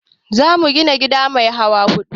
Za mu gina gida mai hawa huɗu